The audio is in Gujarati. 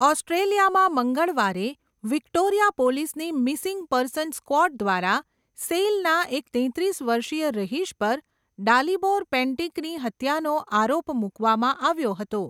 ઓસ્ટ્રેલિયામાં, મંગળવારે વિક્ટોરિયા પોલીસની મિસિંગ પર્સન્સ સ્ક્વોડ દ્વારા સેઇલના એક તેત્રીસ વર્ષીય રહીશ પર ડાલિબોર પેન્ટિકની હત્યાનો આરોપ મૂકવામાં આવ્યો હતો.